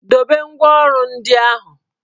Dobe ngwá ọrụ ndị ahụ!